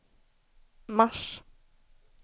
mars